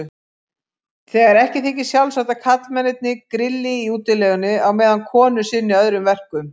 Þegar ekki þykir sjálfsagt að karlmennirnir grilli í útilegunni á meðan konur sinni öðrum verkum.